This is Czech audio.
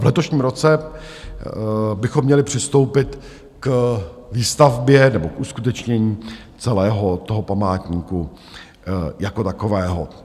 v letošním roce bychom měli přistoupit k výstavbě, nebo k uskutečnění celého toho památníku jako takového.